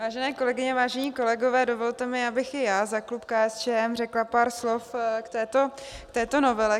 Vážené kolegyně, vážení kolegové, dovolte mi, abych i já za klub KSČM řekla pár slov k této novele.